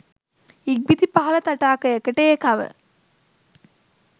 ඉක්බිති පහළ තටාකයකට ඒකව